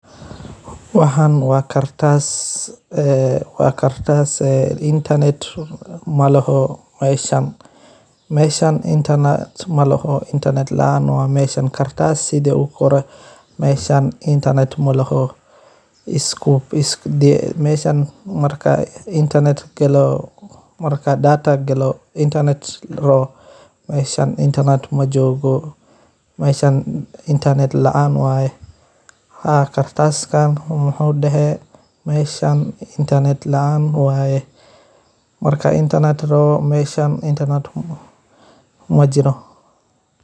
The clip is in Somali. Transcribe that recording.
Waxan wa kartas, ee wa kartas ee internet meshan malaha qadka , mesha marka data gato mesha internet majogo, meshan internet laan waye, haa kartaskan wuxu dehe meahan laan waye, majiro.